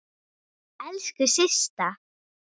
Elsku Systa.